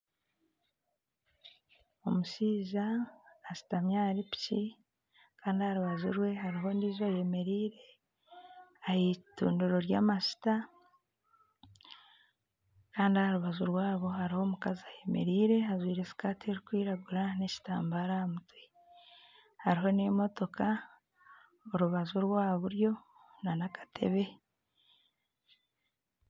Omushaija ashutami ahari piki kandi aharubaju rwe hariho ondijo ayemereire aha itundiro ry'amajuta kandi aharubaju rwabo hariho omukazi ayemereire ajwire sikati erikwiragura n'ekitambaara aha mutwe. Hariho n'emotoka aha rubaju rwa buryo nana akatebe